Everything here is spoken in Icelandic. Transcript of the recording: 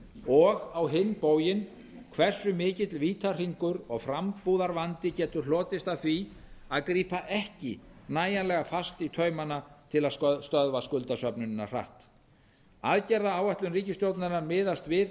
og á hinn bóginn hversu mikill vítahringur og frambúðarvandi getur hlotist af því að grípa ekki nægjanlega fast í taumana til að stöðva skuldasöfnunina hratt aðgerðaáætlun ríkisstjórnarinnar miðast við